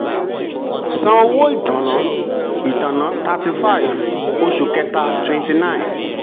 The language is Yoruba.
san owó ìtànná ìtànná thirty five oṣù kẹta twenty nine.